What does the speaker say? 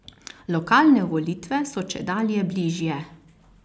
Lokalne volitve so čedalje bližje.